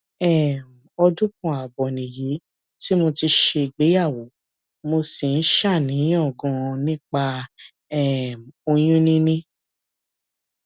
um ọdún kan ààbọ nìyí tí mo ti ṣègbéyàwó mo sì ń ṣàníyàn ganan nípa um oyún níní